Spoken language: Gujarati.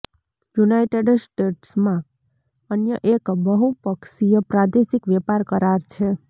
યુનાઇટેડ સ્ટેટ્સમાં અન્ય એક બહુપક્ષીય પ્રાદેશિક વેપાર કરાર છે